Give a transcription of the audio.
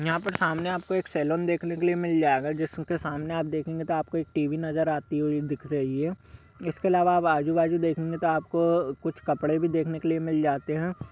यहाँ पर सामने एक सैलून देखने के लिए मिल जाएगा जिसके सामने आप देखेंगे तो आपको टी.बी. नजर आती हुई दिख रही है इसके अलावा आप आजू-बाजू देखेंगे तो आपको तो कुछ कपड़े भी देखने के लिए मिल जाते हैं।